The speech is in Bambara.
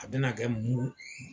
A bɛna kɛ muru